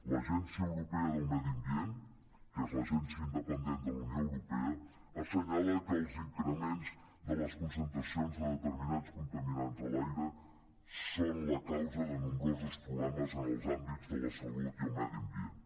l’agència europea del medi ambient que és l’agència independent de la unió euro·pea assenyala que els increments de les concentracions de determinats contaminants de l’aire són la causa de nombrosos problemes en els àmbits de la salut i el medi am·bient